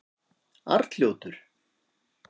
Arnljótur